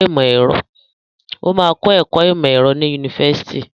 Ó máa kọ́ ẹ̀kọ́ ìmọ̀ ẹ̀rọ ní yunifásitì.